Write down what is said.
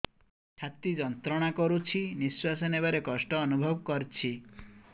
ଛାତି ଯନ୍ତ୍ରଣା କରୁଛି ନିଶ୍ୱାସ ନେବାରେ କଷ୍ଟ ଅନୁଭବ କରୁଛି